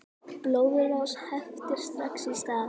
Blóðrás heftir strax í stað.